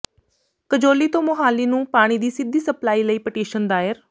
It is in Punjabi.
ਕਜੌਲੀ ਤੋਂ ਮੁਹਾਲੀ ਨੂੰ ਪਾਣੀ ਦੀ ਸਿੱਧੀ ਸਪਲਾਈ ਲਈ ਪਟੀਸ਼ਨ ਦਾਇਰ